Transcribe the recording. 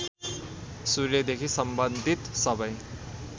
सूर्यदेखि सम्बन्धित सबै